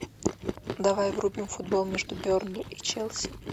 давай врубим футбол между бернли и челси